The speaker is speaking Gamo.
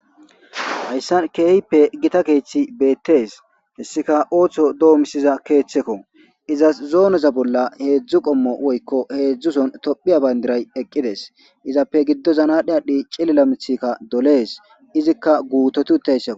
hayssan keehippe gita keeththi beettees hessika ooththo doomisiza keeththekko izas zooneza bolla heedzdzu qommo woykko heedzdzuson tophiya bayndiray eqqides izappe giddo zanadhi adhdhi cillila mithikka dolees izikka guutotutayssa